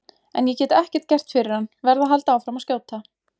En ég get ekkert gert fyrir hann, verð að halda áfram að skjóta.